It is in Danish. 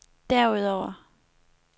derudover